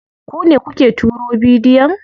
Ku ne kuke turo bidiyon?